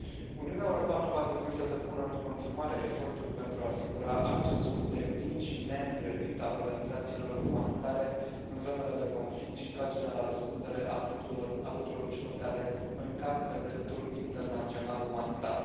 Uniunea Europeană va trebui să depună în continuare eforturi pentru a asigura accesul deplin și neîngrădit al organizațiilor umanitare în zonele de conflict și tragerea la răspundere a tuturor celor care încalcă dreptul internațional umanitar.